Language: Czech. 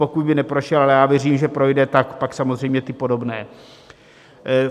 Pokud by neprošel, ale já věřím, že projde, tak pak samozřejmě ty podobné.